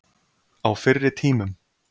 Á fyrri tímum.